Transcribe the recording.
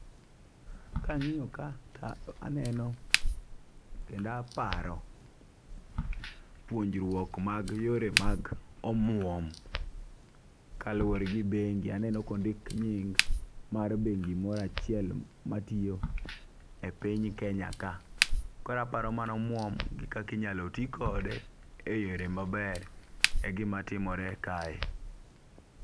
Kang'iyo ka taneno kenda paro puonjruok mag yore mag omwom . Kaluwore gi bengi aneno kondik nying mar bengi mora chiel matiyo e piny kenya ka. Koraparo mano omwom gi kaki nyalo tii kode e yore maber e gima timore kae.